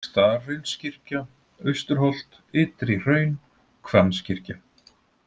Staðarhraunskirkja, Austurholt, Ytri-Hraun, Hvammskirkja